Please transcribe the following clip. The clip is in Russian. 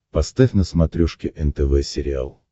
поставь на смотрешке нтв сериал